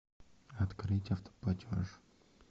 открыть автоплатеж